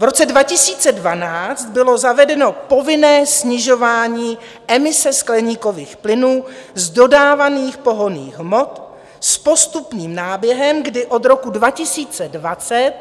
V roce 2012 bylo zavedeno povinné snižování emise skleníkových plynů z dodávaných pohonných hmot s postupným náběhem, kdy od roku 2020